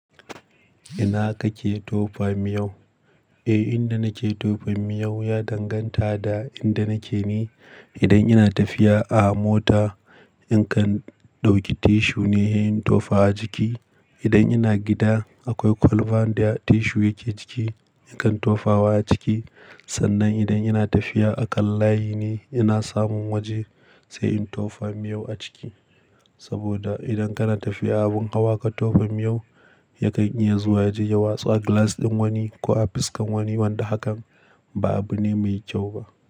Ina kake tofa miyau? Eh, inda nake tofa miyau ya danganta da inda nake ni. Idan ina tafiya a mota, in kan ɗauki tissue ne he in tofa a jiki. Idan ina gida akwai kwalban da tissue yake ciki, nakan tofa wa a ciki. Sannan idan ina tafiya a ƙan layi ne, ina samun waje sai in tofa miyau a ciki. Saboda idan kana tafiya abin ƙawa ka tofa miyau, yakan iya zuwa ya je ya watsu a glass ɗin wani ko a fuskan wani, wanda hakan ba abu ne mai kyau ba.